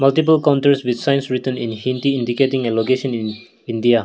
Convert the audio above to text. readable counters with signs written in hindi indicating a location in India.